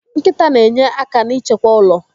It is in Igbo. Nkịta na enye aka n'ịchekwa ụlọ.